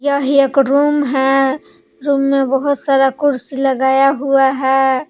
यह एक रूम है रूम में बहुत सारा कुर्सी लगाया हुआ है।